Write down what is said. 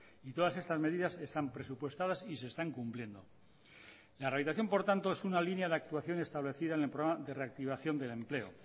y todas estas medidas están presupuestadas y se están cumpliendo la rehabilitación por tanto es una línea de actuación establecida en el programa de reactivación del empleo